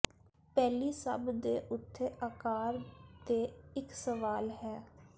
ਪਹਿਲੀ ਸਭ ਦੇ ਉੱਥੇ ਆਕਾਰ ਦੇ ਇੱਕ ਸਵਾਲ ਹੈ